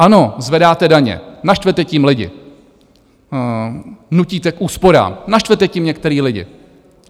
Ano, zvedáte daně, naštvete tím lidi, nutíte k úsporám, naštvete tím některý lidi.